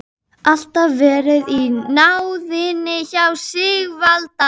Alltaf verið í náðinni hjá Sigvalda.